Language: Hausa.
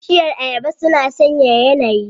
Bishiyar Ayaba suna sanyaya yanayi.